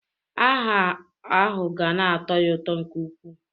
Aha ahụ ga na-atọ ya ụtọ nke ukwuu.